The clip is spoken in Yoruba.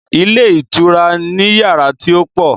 Ilé ìtura ni yàrá tí ó pọ̀.